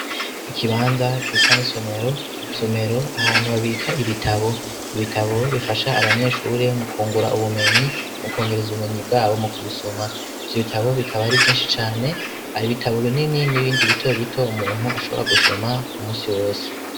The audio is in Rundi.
Ikibanza gisa n'isomero ,somero ahantu habika ibitabo, ibitabo bifasha abanyeshuri mu kungura ubumenyi ,mu kwongereza ubumenyi bwabo mu kubisoma, ivyo bitabo bikaba ari vyinshi cane, hari ibitabo binini, n'ibindi bito bito umuntu ashobora gusoma umusi wose.